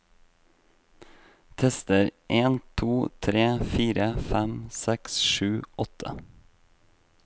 Tester en to tre fire fem seks sju åtte